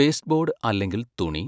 pasteboard അല്ലെങ്കിൽ തുണി,